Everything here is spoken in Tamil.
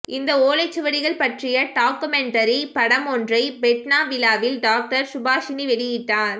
இந்த ஓலைச்சுவடிகள் பற்றிய டாக்குமெண்டரி படம் ஒன்றை ஃபெட்னா விழாவில் டாக்டர் சுபாஷிணி வெளியிட்டார்